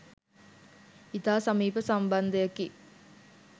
ඉතා සමීප සම්බන්ධයකි.